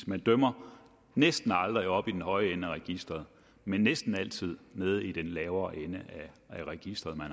man dømmer næsten aldrig oppe i den høje ende af registeret men næsten altid nede i den lavere ende af registeret når